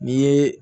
N'i ye